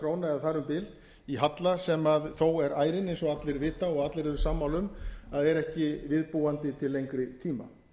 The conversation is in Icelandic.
króna eða þar um bil í halla sem þó er ærinn eins og allir vita og allir eru sammála um að er ekki við búandi til lengri tíma